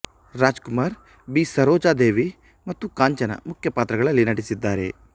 Rajkumar B Sarojadevi ಮತ್ತು ಕಾಂಚನ ಮುಖ್ಯ ಪಾತ್ರಗಳಲ್ಲಿ ನಟಿಸಿದ್ದಾರೆ